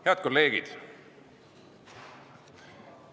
Head kolleegid!